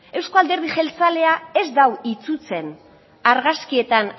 eusko alderdi jeltzalea ez du itsutzen argazkietan